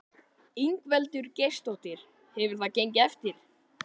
Ingveldur Geirsdóttir: Hefur það gengið eftir?